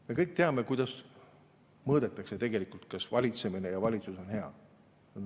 Me kõik teame, kuidas mõõdetakse tegelikult, kas valitsemine ja valitsus on hea.